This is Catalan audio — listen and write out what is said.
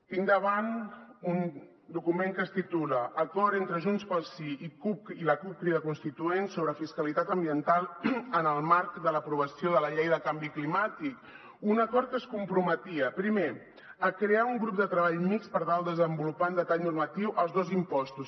tinc davant un document que es titula acord entre junts pel sí i la cup crida constituent sobre fiscalitat ambiental en el marc de l’aprovació de la llei de canvi climàtic un acord que es comprometia primer a crear un grup de treball mixt per tal de desenvolupar en detall normatiu els dos impostos